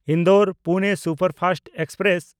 ᱤᱱᱫᱳᱨ-ᱯᱩᱱᱮ superfast express